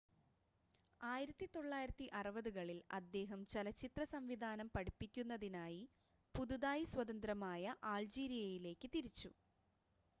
1960-കളിൽ അദ്ദേഹം ചലച്ചിത്ര സംവിധാനം പഠിപ്പിക്കുന്നതിനായി പുതുതായി സ്വതന്ത്രമായ അൾജീരിയയിലേക്ക് തിരിച്ചു